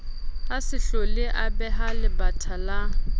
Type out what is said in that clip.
a se hloleabeha lebatha la